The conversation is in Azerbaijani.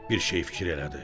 Bir şey fikir elədi.